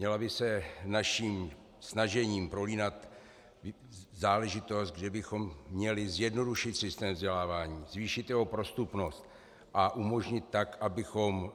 Měla by se naším snažením prolínat záležitost, že bychom měli zjednodušit systém vzdělávání, zvýšit jeho prostupnost, a umožnit tak, abychom